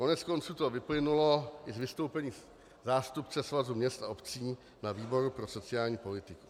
Koneckonců to vyplynulo i z vystoupení zástupce Svazu měst a obcí na výboru pro sociální politiku.